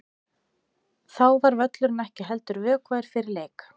Þá var völlurinn ekki heldur vökvaður fyrir leik.